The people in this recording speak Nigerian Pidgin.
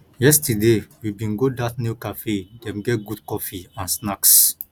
yesterday we bin go dat new cafe dem get good coffee and snacks